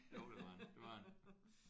Jo det var han det var han